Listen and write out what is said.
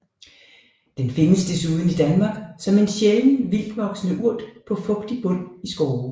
Den findes desuden i Danmark som en sjælden vildtvoksende urt på fugtig bund i skove